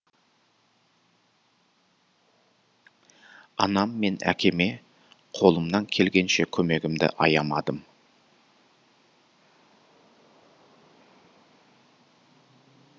анам мен әкеме қолымнан келгенше көмегімді аямадым